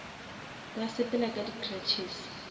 ba sepela ka di cruches